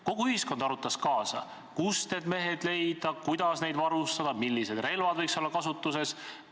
Kogu ühiskond arutas kaasa, kust need mehed leida, kuidas neid varustada, millised relvad võiks olla kasutuses.